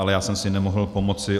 Ale já jsem si nemohl pomoci.